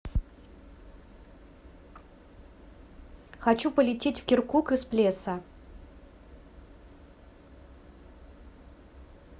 хочу полететь в киркук из плеса